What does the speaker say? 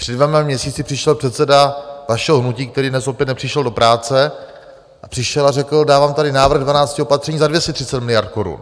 Před dvěma měsíci přišel předseda vašeho hnutí, který dnes opět nepřišel do práce, a přišel a řekl: Dávám tady návrh dvanácti opatření za 230 miliard korun.